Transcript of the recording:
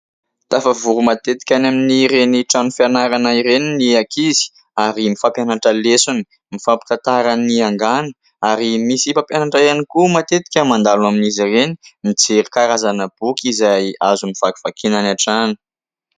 Tafavory matetika any amin'ireny trano fianarana ireny ny ankizy ary mifampianatra lesona; mifampitantara ny angano ary misy mpampianatra ihany koa matetika mandalo amin'izy ireny mijery karazana boky izay azony vakivakiana any an-trano.